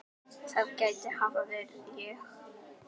það gæti hafa verið ég